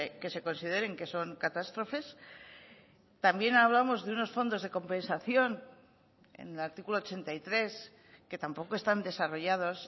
que se consideren que son catástrofes también hablamos de unos fondos de compensación en el artículo ochenta y tres que tampoco están desarrollados